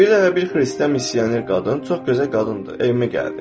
Bir dəfə bir xristian missioner qadın, çox gözəl qadındır, evimə gəldi.